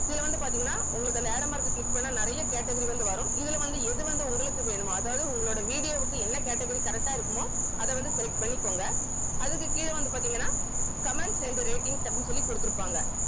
இதுல வந்து பாத்தீங்கன்னா உங்களுக்கு அந்த arrow mark click பண்ணா நிறைய category வந்து வரும் இதுல வந்து எது வந்து உங்களுக்கு வேணுமோ அதாவது உங்களோட video வுக்கு என்ன category correct ஆ இருக்குமோ அத வந்து select பண்ணிக்கோங்க அதுக்கு கீழ வந்து பாத்தீங்கன்னா comments and ratings அப்படின்னு சொல்லி குடுத்திருப்பாங்க